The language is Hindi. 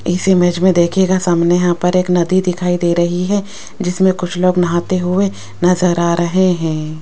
इस इमेज में देखिएगा सामने यहां पर एक नदी दिखाई दे रही है जिसमें कुछ लोग नहाते हुए नजर आ रहे हैं।